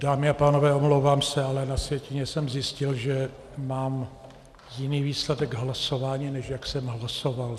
Dámy a pánové, omlouvám se, ale na sjetině jsem zjistil, že mám jiný výsledek hlasování, než jak jsem hlasoval.